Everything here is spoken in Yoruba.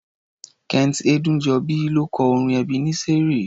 Kent Ẹdúnjọbí ló kọ orin Ẹbeneseri.